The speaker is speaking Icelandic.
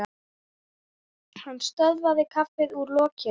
Hann sötraði kaffið úr lokinu.